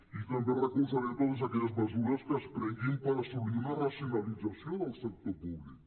i també recolzarem totes aquelles mesures que es prenguin per assolir una racio·nalització del sector públic